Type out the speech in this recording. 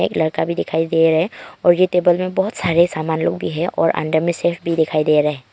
एक लड़का भी दिखाई दे रहे है और ये टेबल में बहुत सारे सामान लोग भी है और अंदर में शेफ भी दिखाई दे रहा है।